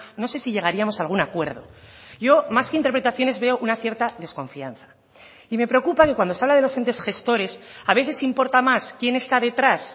no sé si llegaríamos a algún acuerdo yo más que interpretaciones veo una cierta desconfianza y me preocupa que cuando se habla de los entes gestores a veces importa más quién está detrás